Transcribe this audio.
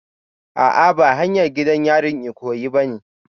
A'a ba hanyar gidan yarin Ikoyi bane